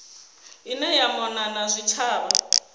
ine ya mona na zwitshavha